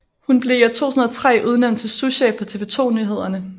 Hun blev i 2003 udnævnt til souschef for TV 2 Nyhederne